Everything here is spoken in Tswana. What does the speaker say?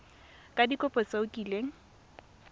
ka dikopo tse o kileng